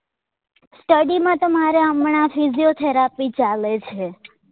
Study માં તો મારે હમણાં physiotherapy ચાલે છે